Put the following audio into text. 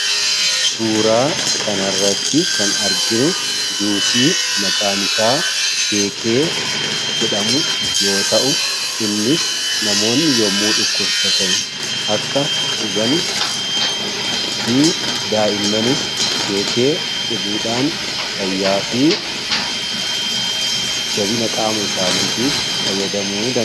suuraa kanarratti kan arginu juusii maqaan isaa keekee jedhamu yoo ta'u innis namoonni yommuu dhukkubsatan akka dhugan fi daa'immanis keekee dhuguudhaan fayyaa fi jabina qaama isaaniitiif fayyadamu